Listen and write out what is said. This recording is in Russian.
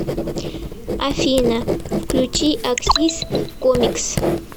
афина включи аксис комикс